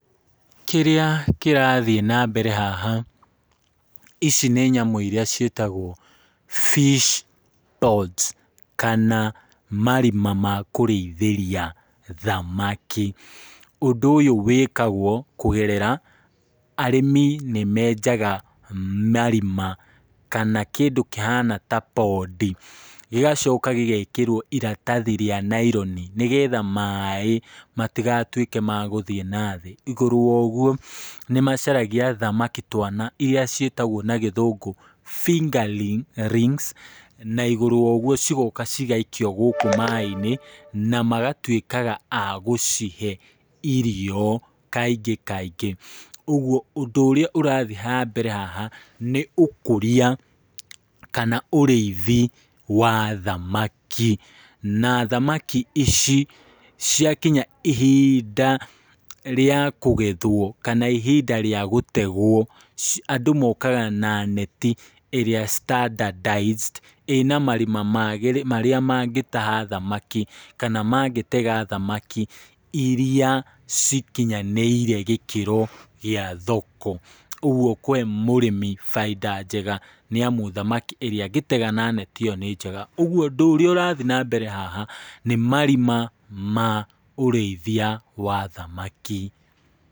Kĩrĩa kĩrathiĩ na mbere haha, ici nĩ nyamũ iria ciĩtagwo fish ponds, kana marima makũrĩithĩria thamaki, ũndũ ũyũ wĩkagwo kũgerera arĩmi nĩ menjaga marima kana kĩndũ kĩhana tarĩ pondi, gĩgacoka gĩgekĩrwo iratathi rĩa nyloni, nĩgetha maaĩ matigatwĩke magũthiĩ na thĩ , igũrũ rĩa ũgwo nĩ macaragia tũthamaki twana, iria ciĩtagwo na gĩthũngũ fingerlins , na igũrũ rĩa ũgwo cigoka cigaikio gũkũ maaĩ-inĩ, na magatwĩkaga agũcihe irio kaingĩ kaingĩ, ũgwo ũndũ ũrĩa ũrathiĩ na mbere haha, nĩ ũkũria kana ũrĩithia wa thamaki, na thamaki ici ciakinya ihinda rĩa kũgethwo, kana ihinda rĩa gũtegwo, andũ mokaga na neti iria standardized ina marima magĩrĩ marĩa mangĩtaha thamaki, kana mangĩtega thamaki, iria cikinyanĩire gĩkĩro gĩa thoko, ũgwo kũhe mũrĩmi bainda njega , nĩ amu thamaki ĩrĩa angĩtega na thamaki ĩyo nĩ njega, ũgwo ũndũ ũrĩa ũrathiĩ na mbere haha , nĩ marima ma ũrĩithia wa thamaki.